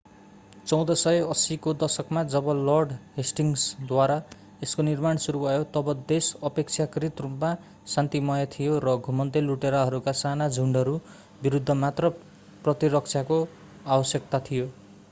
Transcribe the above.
1480 को दशकमा जब लर्ड हेस्टिङ्सद्वारा यसको निर्माण सुरु भयो तब देश अपेक्षाकृत रूपमा शान्तिमय थियो र घुमन्ते लुटेराहरूका साना झुन्डहरू विरूद्ध मात्र प्रतिरक्षाको आवश्यकता थियो